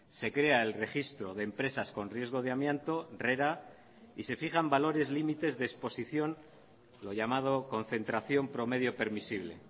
se crea el registro de empresas con riesgo de amianto rera y se fijan valores límites de exposición lo llamado concentración promedio permisible